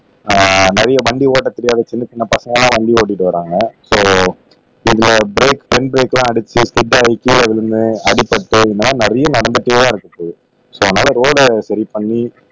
ஆஹ் நிறைய வண்டி ஓட்ட தெரியாத சின்ன சின்ன பசங்க எல்லாம் வண்டி ஓட்டிட்டு வர்றாங்க சோ இந்த பிரேக் பின் பிரேக்லாம் அடிச்சி ஸ்கிட் ஆக்கி கீழ விழுந்து அடிபட்டு இந்த மாதிரி நிறைய நடந்துட்டுதான் இருக்குது சோ அதனால ரோட சரி பண்ணி